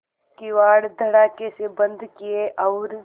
किवाड़ धड़ाकेसे बंद किये और